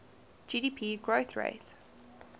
gdp growth rate